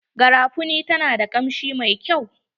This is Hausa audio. Garafuni ta na da kamshi mai kyau.